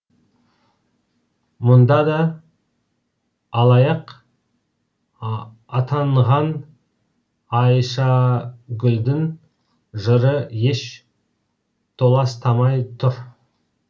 мұнда да алаяқ атанған айшагүлдің жыры еш толастамай тұр